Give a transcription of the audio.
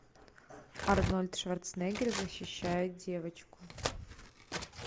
арнольд шварценеггер защищает девочку